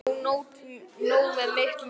En ég á nóg með mitt núna.